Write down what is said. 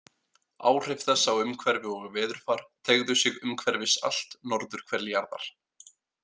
Áhrif þess á umhverfi og veðurfar teygðu sig umhverfis allt norðurhvel jarðar.